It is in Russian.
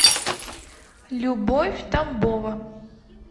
любовь тамбова